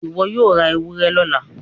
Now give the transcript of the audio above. iwọ yóò rá ewúrẹ lọla